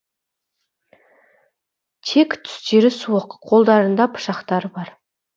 тек түстері суық қолдарында пышақтары бар